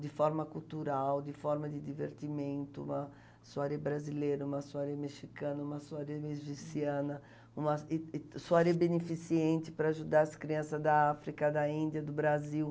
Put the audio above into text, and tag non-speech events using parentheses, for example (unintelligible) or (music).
de forma cultural, de forma de divertimento, uma soirée brasileira, uma soirée mexicana, uma soirée, (unintelligible) uma e e soirée beneficente para ajudar as crianças da África, da Índia, do Brasil.